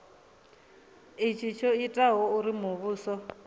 itshi tsho itaho uri muvhuso